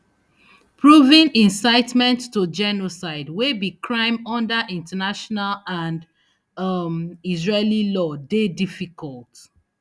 proving incitement to genocide wey be crime under international and um israeli law dey difficult